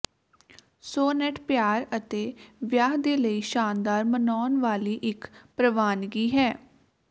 sonnet ਪਿਆਰ ਅਤੇ ਵਿਆਹ ਦੇ ਲਈ ਸ਼ਾਨਦਾਰ ਮਨਾਉਣ ਵਾਲੀ ਇੱਕ ਪ੍ਰਵਾਨਗੀ ਹੈ